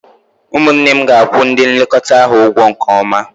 Ụmụnne m ga-akwụ ndị nlekọta ahụ ụgwọ nke ọma